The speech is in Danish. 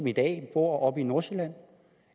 i dag bor oppe i nordsjælland